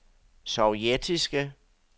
sovjetiske